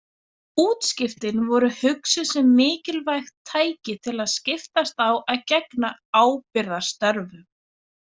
Útskiptin voru hugsuð sem mikilvægt tæki til að skiptast á að gegna ábyrgðarstörfum.